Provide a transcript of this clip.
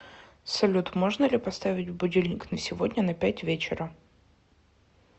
салют можно ли поставить будильник на сегодня на пять вечера